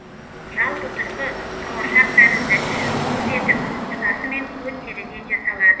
жалпы тұрқы қауашақ тәрізді іші қуыс етіп тұтасымен көн теріден жасалады